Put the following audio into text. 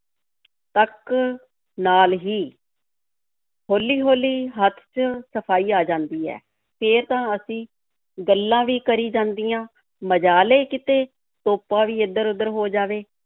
ਤੱਕ ਨਾਲ ਹੀ ਹੌਲੀ-ਹੌਲੀ ਹੱਥ 'ਚ ਸਫ਼ਾਈ ਆ ਜਾਂਦੀ ਹੈ, ਫੇਰ ਤਾਂ ਅਸੀਂ ਗੱਲਾਂ ਵੀ ਕਰੀ ਜਾਂਦੀਆਂ, ਮਜਾਲ ਏ ਕਿਤੇ ਤੋਪਾ ਵੀ ਇੱਧਰ-ਓਧਰ ਹੋ ਜਾਵੇ।